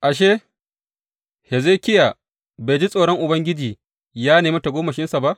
Ashe, Hezekiya bai ji tsoron Ubangiji ya nemi tagomashinsa ba?